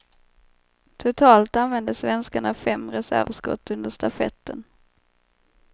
Totalt använde svenskarna fem reservskott under stafetten.